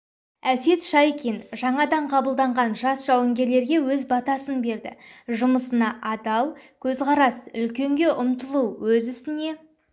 әсет шайкин жаңадан қабылданған жас жауынгерлерге өз батасын берді жұмысына адал көзқарас үлкенге ұмтылу өз ісіне